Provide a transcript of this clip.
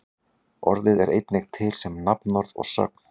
orðið er einnig til sem nafnorð og sögn